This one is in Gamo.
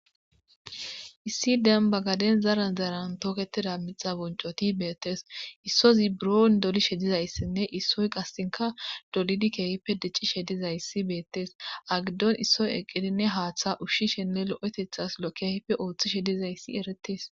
Issi demba gaden zara zaran tooketida mixa boncoti beettes issozi buron doli shedizayssinne issoy qassinka dolidi keehippe dicci she dizayssi beettes agiddon issoy eqqidinne haaththa ushshishenne lo7etethas lo keype ooththi shedizayssi eretes